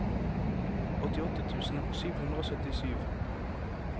åttiåtte tusen sju hundre og syttisju